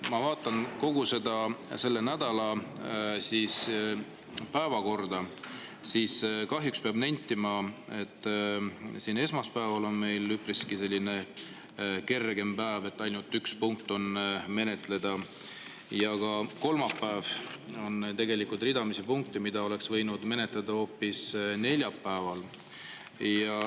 Ma vaatan kogu selle nädala päevakorda ja kahjuks pean nentima, et esmaspäeval on meil üpriski kerge päev – ainult üks punkt on menetleda – ja ka kolmapäeval on tegelikult ridamisi punkte, mida oleks võinud menetleda hoopis neljapäeval.